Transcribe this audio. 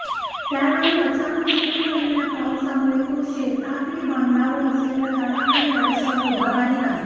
त्यावेळी अचानक सुरु झालेल्या पावसामुळे तो शेतातील बांधावर असलेल्या झाडाखाली आडोशाला उभा राहीला